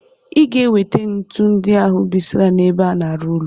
Iga ewete ntu ndi ahu bisra n' ebe ana arụ ụlọ!!